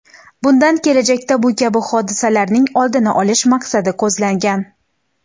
Bundan kelajakda bu kabi hodisalarning oldini olish maqsadi ko‘zlangan.